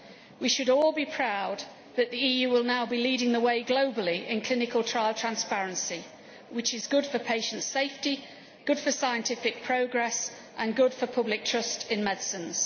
We should all be proud that the EU will now be leading the way globally in clinical trial transparency, which is good for patient safety, good for scientific progress and good for public trust in medicines.